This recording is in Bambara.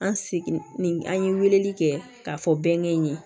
An seginni an ye weleli kɛ ka fɔ bɛnkɛ in ye